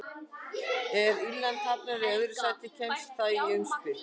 Ef Írland hafnar í öðru sæti kemst það í umspil.